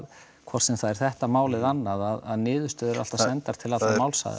hvort sem það er þetta mál eða annað að niðurstöður eru alltaf sendar til allra málsaðila